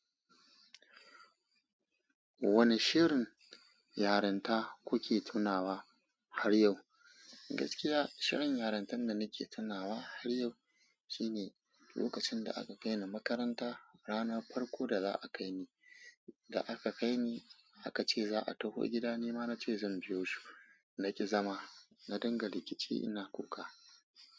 Wane shirin yaranta kuke tunawa har yau? Gaskiya shirin yarantan da nake tunawa har yau shine lokacin da aka kaini makaranta. Ranar farko da za a kaini, da aka kaini aka ce za a taho gida, ni ma na ce zan biyo su. Na ki zama, na dinga rikici ina kuka.